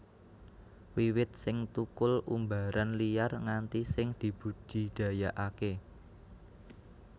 Wiwit sing thukul umbaran liar nganti sing dibudidayakaké